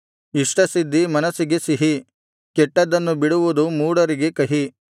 ಇಷ್ಟಸಿದ್ಧಿ ಮನಸ್ಸಿಗೆ ಸಿಹಿ ಕೆಟ್ಟದ್ದನ್ನು ಬಿಡುವುದು ಮೂಢರಿಗೆ ಕಹಿ